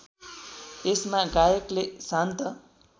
यसमा गायकले शान्त